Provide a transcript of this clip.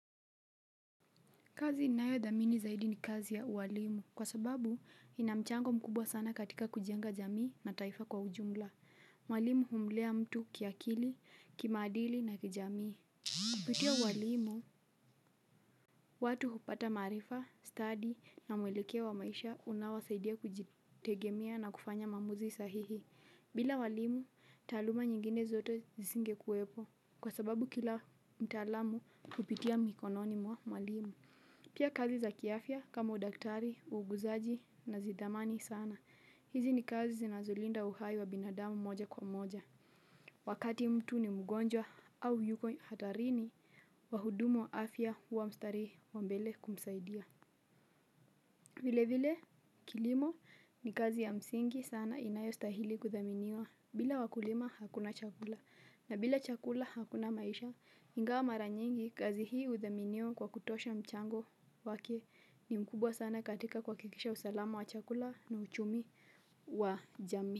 Kazi ninayo dhamini zaidi ni kazi ya uwalimu kwa sababu inamchango mkubwa sana katika kujenga jamii na taifa kwa ujumla. Mwalimu humlea mtu kiakili, kimaadili na kijamii. Kupitia uwalimu, watu hupata maarifa, stadi na mwelekeo wa maisha unaowasaidia kujitegemea na kufanya maamuzi sahihi. Bila walimu, taaluma nyingine zote zisingekuwepo kwa sababu kila mtaalamu hupitia mikononi mwa mwalimu. Pia kazi za kiafya kama udaktari, uuguzaji nazidhamani sana. Hizi ni kazi zinazolinda uhai wa binadamu moja kwa moja. Wakati mtu ni mugonjwa au yuko hatarini wahudumu wa afya huwa mstarii wa mbele kumsaidia. Vile vile kilimo ni kazi ya msingi sana inayo stahili kuthaminiwa bila wakulima hakuna chakula na bila chakula hakuna maisha ingawa mara nyingi kazi hii huthaminiwa kwa kutosha mchango wake ni mkubwa sana katika kuakikisha usalama wa chakula na uchumi wa jami.